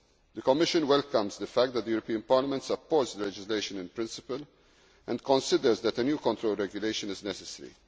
proposed. The Commission welcomes the fact that the European Parliament supports the legislation in principle and considers that a new control regulation is